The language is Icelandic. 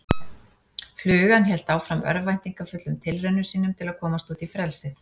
Flugan hélt áfram örvæntingarfullum tilraunum sínum til að komast út í frelsið.